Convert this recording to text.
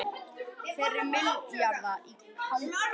Nærri milljarður í hagnað